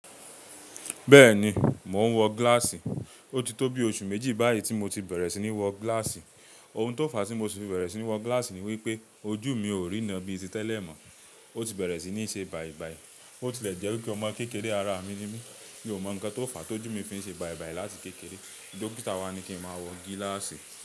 Bẹ́ẹ̀ni, mò ń wọ gíláàsì. Ó ti tó bi oṣù méjì báyìí tí mo ti bẹ̀rẹ̀ sí ní wọ gíláàsì. Ohun tó fàá tí mo ṣi fi bẹ̀rẹ̀ sí ní wọ gíláàsì ni wípé ojú mi ò ríná bíi ti tẹ́lẹ̀ mọ́. Ó ti bẹ̀rẹ̀ sí ní ṣe bàìbàì. Ó ti lẹ̀ jẹ́ wípé ọmọ kékeré ará mi nímí mio mọ nǹkan tó fà á tí ojú mi fi ń ṣe bàìbàì láti kékeré. Dókítà wá ní kí n máa wọ gíláàsì.